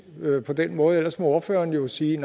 på den måde ellers må ordføreren jo sige